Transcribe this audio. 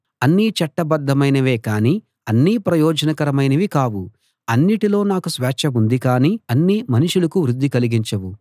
అన్నీ చట్టబద్దమైనవే కానీ అన్నీ ప్రయోజనకరమైనవి కావు అన్నిటిలో నాకు స్వేచ్ఛ ఉంది గాని అన్నీ మనుషులకు వృద్ధి కలిగించవు